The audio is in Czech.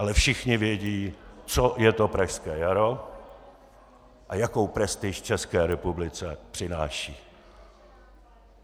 Ale všichni vědí, co je to Pražské jaro a jakou prestiž České republice přináší.